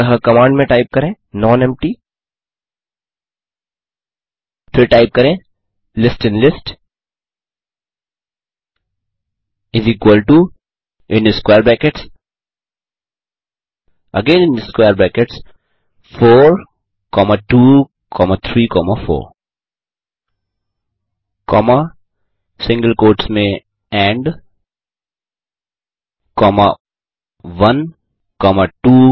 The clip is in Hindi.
अतः कमांड में टाइप करें नोन एम्पटी फिर टाइप करें list in list is equal to square brackets 4234and 1 2 3 4